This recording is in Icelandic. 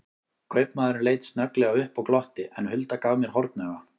Kaupamaðurinn leit snögglega upp og glotti, en Hulda gaf mér hornauga.